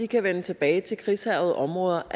kan vende tilbage til krigshærgede områder og